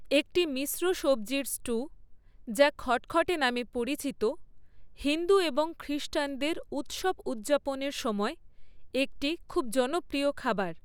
একটি মিশ্র সবজির স্টু, যা খটখটে নামে পরিচিত, হিন্দু এবং খ্রিষ্টানদের উৎসব উদযাপনের সময় একটি খুব জনপ্রিয় খাবার।